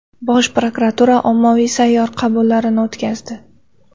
Bosh prokuratura ommaviy sayyor qabullari o‘tkazdi.